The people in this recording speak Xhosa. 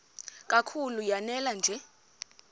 kakhulu lanela nje